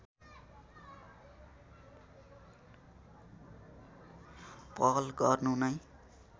पहल गर्नु नै